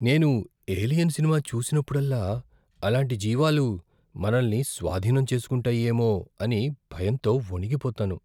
నేను "Alien" cinema చూసినప్పుడల్లా అలాంటి జీవాలు మనల్నిస్వాధీనం చేసుకుంటాయేమో అని భయంతో వణికిపోతాను.